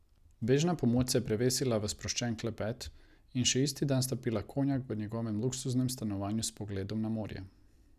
Bežna pomoč se je prevesila v sproščen klepet in še isti dan sta pila konjak v njegovem luksuznem stanovanju s pogledom na morje.